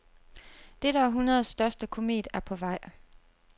Dette århundredes største komet er på vej.